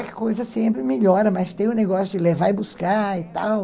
Aí a coisa sempre melhora, mas tem o negócio de levar e buscar e tal.